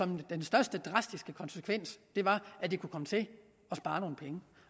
den største drastiske konsekvens er at de kan komme til at spare nogle penge